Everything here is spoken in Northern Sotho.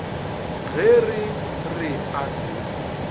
ge re re a se